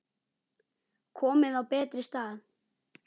Komin á betri stað.